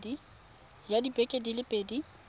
tsaya dibeke di le pedi